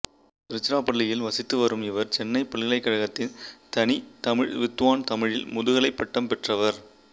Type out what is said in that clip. திருச்சிராப்பள்ளியில் வசித்து வரும் இவர் சென்னை பல்கலைக்கழகத்தின் தனித் தமிழ் வித்துவான் தமிழில் முதுகலைப் பட்டம் பெற்றவர்